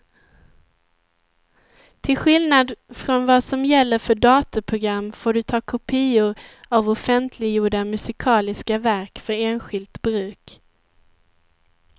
Till skillnad från vad som gäller för datorprogram får du ta kopior av offentliggjorda musikaliska verk för enskilt bruk.